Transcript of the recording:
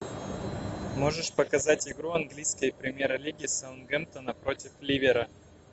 можешь показать игру английской премьер лиги саутгемптона против ливера